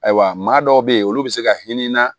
Ayiwa maa dɔw be yen olu bi se ka hinɛ na